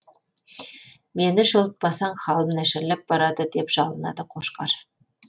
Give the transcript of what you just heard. мені жылытпасаң халім нашарлап барады деп жалынады қошқар